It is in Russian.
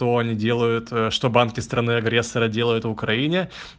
они делают что банки страны агрессора делают в украине